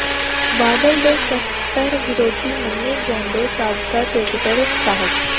ਬਾਦਲ ਦੇ ਕੱਟੜ ਵਿਰੋਧੀ ਮੰਨੇ ਜਾਂਦੇ ਸਾਬਕਾ ਕ੍ਰਿਕਟਰ ਸ